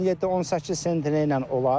17-18 sentnerlə olar.